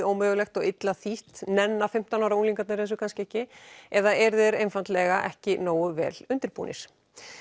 ómögulegt og illa þýtt nenna fimmtán ára unglingarnir þessu kannski ekki eða eru þeir einfaldlega ekki nógu vel undirbúnir